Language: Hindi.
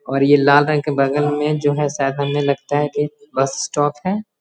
और ये लाल रंग का बगल में जो है शायद हमें लगता है की बस स्टोप है।